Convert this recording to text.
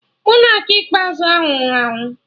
Monak ikpeazụ ahụ nwụrụ anwụ